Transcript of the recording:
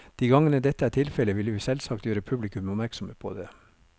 De gangene dette er tilfellet, vil vi selvsagt gjøre publikum oppmerksomme på det.